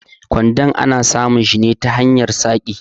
Kwando ana samun shi ne ta hanyar saƙi.